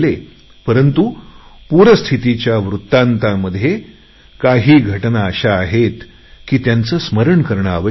परंतु पूरपरिस्थितीच्या बातम्यांमधे काही बातम्या अशा आहेत की त्याचे स्मरण करणे आवश्यक होते